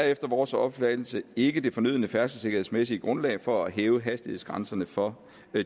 efter vores opfattelse ikke det fornødne færdselssikkerhedsmæssige grundlag for at hæve hastighedsgrænserne for